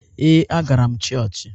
Ee, a gara m chọọchị.